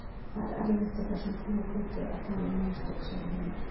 Það er erfitt á þessum tímapunkti að tala um mistök, segir Heimir.